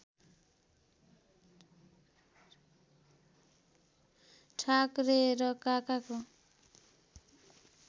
ठाकरे र काकाको